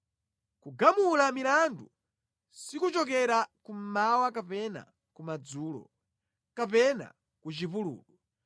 Kugamula milandu sikuchokera kummawa kapena kumadzulo kapena ku chipululu.